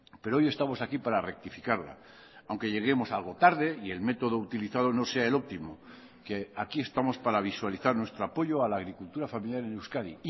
pero hoy estamos aquí para rectificarla aunque lleguemos algo tarde y el método utilizado no sea el óptimo que aquí estamos para visualizar nuestro apoyo a la agricultura familiar en euskadi